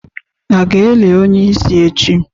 A ga-eli onye isi echi?